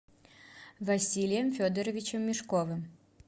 василием федоровичем мешковым